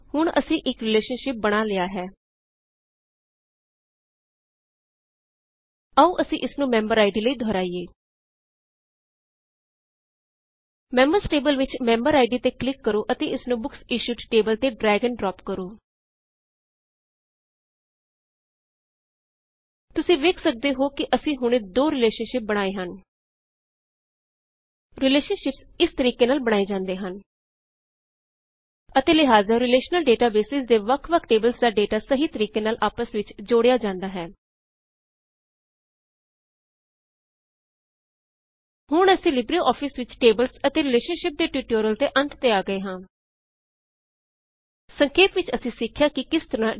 ਹੁਣ ਅਸੀ ਇਕ ਰਿਲੇਸ਼ਨਸ਼ਿਪ ਬਣਾ ਲਇਆ ਹੈ ਆਓ ਅਸੀ ਇਸਨੂੰ ਮੈਮਬਰਆਈਡੀ ਲਈ ਦੁਹਰਾਇਏ ਮੈਮਬਰਜ਼ ਟੇਬਲ ਵਿੱਚ ਮੈਮਬਰਆਈਡੀ ਤੇ ਕਲਿਕ ਕਰੋ ਅਤੇ ਇਸਨੂ ਬੁਕਸਇਸ਼ੂਡ ਟੇਬਲ ਤੇ ਡ੍ਰੈਗ ਅਤੇ ਡ੍ਰੌਪ ਕਰੋ ਤੁਸੀ ਵੇਖ ਸਕਦੇ ਹੈ ਕੀ ਅਸੀ ਹੁਣੇ ਦੋ ਰਿਲੇਸ਼ਨਸ਼ਿਪ ਬਣਾਏ ਹਨ ਰਿਲੇਸ਼ਨਸ਼ਿਪਸ ਇਸ ਤਰੀਕੇ ਨਾਲ ਬਣਾਏ ਜਾਉੰਦੇ ਹਨ ਅਤੇ ਲਿਹਾਜ਼ਾ ਰਿਲੇਸ਼ਨਲ ਡੇਟਾਬੇਸਿਜ਼ ਦੇ ਵਖ ਵਖ ਟੇਬਲਜ਼ ਦਾ ਡੇਟਾ ਸਹੀ ਤਰੀਕੇ ਨਾਲ ਆਪਸ ਵਿੱਚ ਜੋੜਿਆ ਜਾਉਂਦਾ ਹੈ ਹੁਣ ਅਸੀ ਲਿਬ੍ਰਔਫਿਸ ਵਿੱਚ ਟੇਬਲਸ ਅਤੇ ਰਿਲੇਸ਼ਨਸ਼ਿਪਸ ਦੇ ਟਯੂਟੋਰਿਯਲ ਦੇ ਅੰਤ ਤੇ ਆ ਗਏ ਹਾਂ ਸੰਖੇਪ ਵਿੱਚ ਅਸੀ ਸਿਖਿਆ ਕੀ ਕਿਸ ਤਰਹ 1